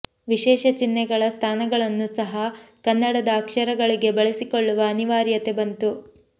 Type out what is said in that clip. ವಿಶೇಷ ಚಿಹ್ನೆಗಳ ಸ್ಥಾನಗಳನ್ನೂ ಸಹ ಕನ್ನಡದ ಅಕ್ಷರಗಳಿಗೆ ಬಳಸಿಕೊಳ್ಳುವ ಅನಿವಾರ್ಯತೆ ಬಂತು